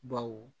Baw